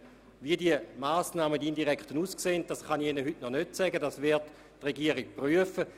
Wie diese indirekten Massnahmen aussehen, kann ich Ihnen heute noch nicht sagen, das wird die Regierung prüfen.